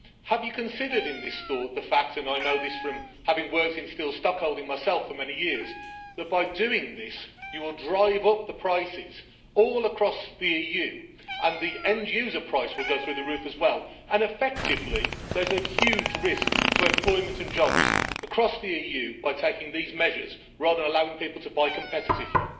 Have you considered in this thought the fact and I know this from having worked in steel stockholding myself for many years that by doing this, you will drive up the prices all across the EU and the end user price will go through the roof as well and effectively, there is a huge risk to employment and jobs across the EU by taking these measures rather than allowing people to buy competitively?